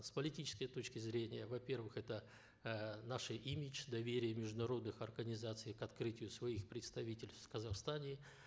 с политической точки зрения во первых это э наши имидж доверие международных организаций к открытию своих представительств в казахстане